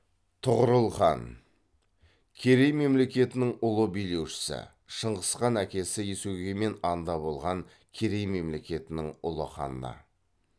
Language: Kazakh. тұғырыл хан керей мемлекетінің ұлы билеушісі шыңғыс ханның әкесі есугеймен анда болған керей мемлекетінің ұлы ханы